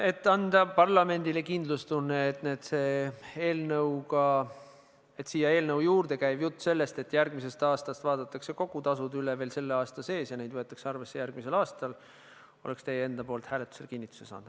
Et anda parlamendile kindlustunne, et eelnõu juurde käiv jutt, et järgmisel aastal vaadatakse kõik tasud üle ja seda võetakse järgmisel aastal arvesse, oleks teie enda poolt hääletusel kinnituse saanud.